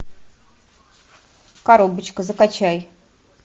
коробочка закачай